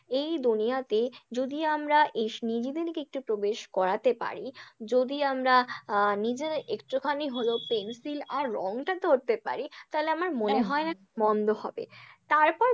এই দুনিয়াতে যদি আমরা এস নিজেদেরকে একটু প্রবেশ করাতে পারি, যদি আমরা আহ নিজেরা একটুখানি হলেও পেনসিল আর রংটা ধরতে পার, তাহলে আমার মনে হয় না মন্দ হবে, তারপর